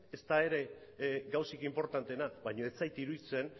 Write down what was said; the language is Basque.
ez da ere gauzarik inportanteena baina ez zait iruditzen